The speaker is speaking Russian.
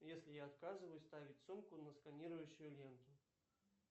если я отказываюсь ставить сумку на сканирующую ленту